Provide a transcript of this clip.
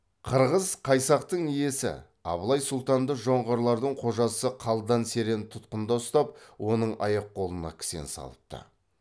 қырғыз қайсақтың иесі абылай сұлтанды жоңғарлардың қожасы қалдан серен тұтқында ұстап оның аяқ қолына кісен салыпты